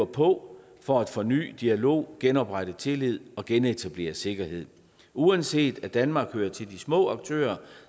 på for at forny dialog genoprette tillid og genetablere sikkerhed uanset at danmark hører til de små aktører